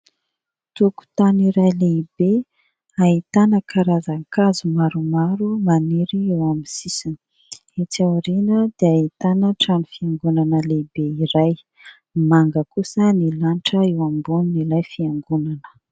Tokotany iray lehibe ahitana karazan-kazo maromaro maniry eo amin'ny sisiny. Etsy aoriana dia ahitana trano fiangonana lehibe iray. Manga kosa ny lanitra eo ambonin'ilay fiangonana.